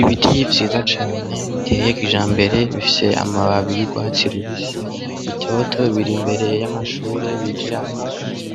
Ibiti vyiza cane biteye kijambere bifise amababi yurwatsi rubisi bitoto birimbere y ' amashure bigiramwo